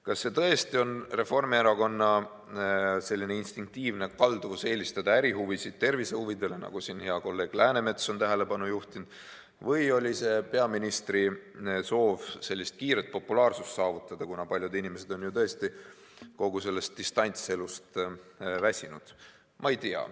Kas see tõesti on Reformierakonna instinktiivne kalduvus eelistada ärihuvisid tervisehuvidele, nagu siin hea kolleeg Läänemets on tähelepanu juhtinud, või oli see peaministri soov kiiret populaarsust saavutada, kuna paljud inimesed on kogu sellest distantselust väsinud?